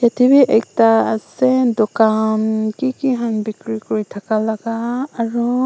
etu bhi ekta ase dukan kiki khan bekeri kori thaka laga aru--